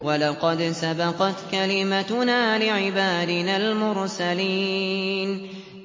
وَلَقَدْ سَبَقَتْ كَلِمَتُنَا لِعِبَادِنَا الْمُرْسَلِينَ